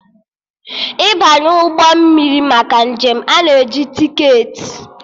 Ịbanye ụgbọ mmiri maka njem, a na-eji tiketi